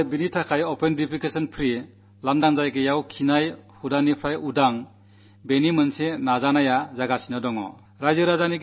അതുകൊണ്ട് open defecation free ODF തുറസ്സായ സ്ഥലത്തെ ശൌചത്തിനന്ത്യം എന്ന ജനമുന്നേറ്റം തുടങ്ങിയിരിക്കുന്നു